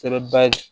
Sɛbɛn ba ye